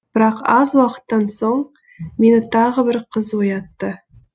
бірақ аз уақыттан соң мені тағы бір қыз оятты